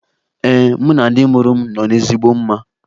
Ee, mụ na ndị mụrụ m nọ n'ezigbo mma.